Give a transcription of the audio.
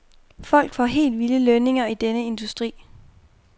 Folk får helt vilde lønninger i denne her industri.